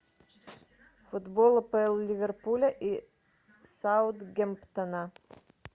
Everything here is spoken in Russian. футбол апл ливерпуля и саутгемптона